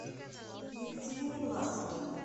екатерине власовой